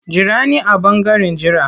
Jira ni a ɓangaren jira.